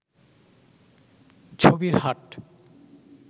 ছবির হাট